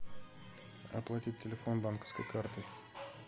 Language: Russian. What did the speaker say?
оплатить телефон банковской картой